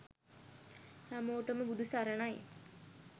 හැමෝටම බුදු සරණයි